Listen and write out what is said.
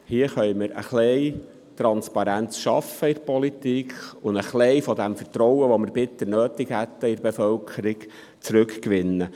Hier können wir ein wenig Transparenz in der Politik schaffen, um damit etwas des seitens der Bevölkerung bitter benötigten Vertrauens zurückzugewinnen.